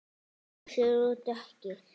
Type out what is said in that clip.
Ljósir og dökkir.